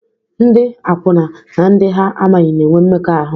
Ndị akwụna na ndị ha amaghị na-enwe mmekọahụ.